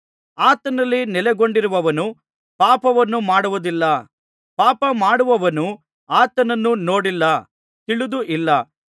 ಆತನಲ್ಲಿ ನೆಲೆಗೊಂಡಿರುವವನು ಪಾಪವನ್ನುಮಾಡುವುದಿಲ್ಲ ಪಾಪಮಾಡುವವನು ಆತನನ್ನು ನೋಡಿಲ್ಲ ತಿಳಿದೂ ಇಲ್ಲ